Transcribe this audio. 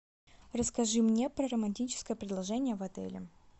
расскажи мне про романтическое предложение в отеле